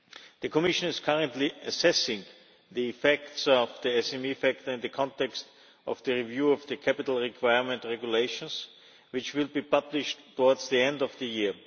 The Commission is currently assessing the effects of the SME factor in the context of the review of the Capital Requirement Regulation, which will be published towards the end of the year.